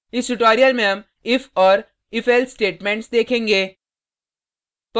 इस ट्यूटोरियल में हम if और ifelse स्टेटमेंट्स देखेंगे